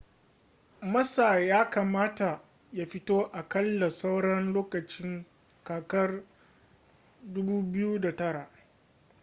massa ya kamata ya fito aƙalla sauran lokacin kakar 2009